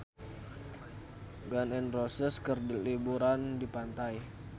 Gun N Roses keur liburan di pantai